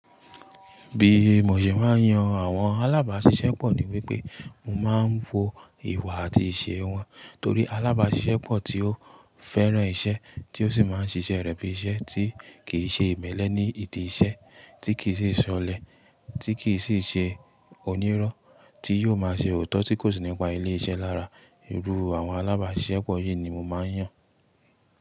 Bí mo ṣe máa ń yan àwọn alábàáṣiṣẹ́ pọ̀ ní wípé, mo máa ń wo ìwà àti ìṣe wọn, torí alábáṣiṣẹ́ pọ̀ tí ó fẹ́ràn iṣẹ́ tí ó sì máa ń ṣiṣẹ́ rẹ̀ bí iṣẹ́ tí kì í ṣe ìmelẹ ní ìdí iṣẹ́, tí kì í sì ṣọlẹ, tí kì í sì ṣe onírọ́, tí yóò máa ṣe òótọ́ tí kò sí nípa ilé-iṣẹ́ lára. Irú àwọn alábáṣiṣẹ́ pọ̀ yìí ni mo máa ń yàn.